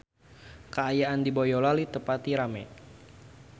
Kaayaan di Boyolali teu pati rame